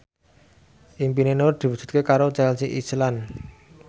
impine Nur diwujudke karo Chelsea Islan